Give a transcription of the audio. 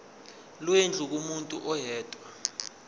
lwendlu kumuntu oyedwa